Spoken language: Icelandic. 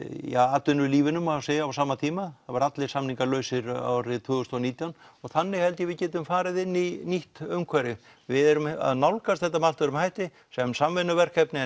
atvinnulífinu má segja á sama tíma það verða allir samningar lausir árið tvö þúsund og nítján þannig held ég að við getum farið inn í nýtt umhverfi við erum að nálgast þetta með allt öðrum hætti sem samvinnuverkefni